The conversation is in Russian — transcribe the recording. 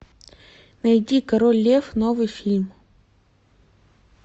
найди король лев новый фильм